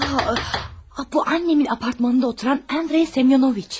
Aa, bu anamın binasında oturan Andrey Semyonoviçdir.